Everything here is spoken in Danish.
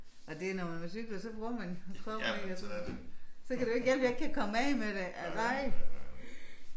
Og det når man man cykler så bruger man kroppen ikke så kan det jo ikke hjælpe jeg ikke kan komme af med det